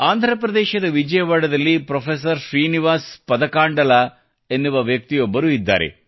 ಆಂಧ್ರಪ್ರದೇಶದ ವಿಜಯವಾಡದಲ್ಲಿ ಪ್ರೊಫೆಸರ್ ಶ್ರೀನಿವಾಸ್ ಪದಕಂಡಲಾ ಎನ್ನುವ ವ್ಯಕ್ತಿಯೊಬ್ಬರು ಇದ್ದಾರೆ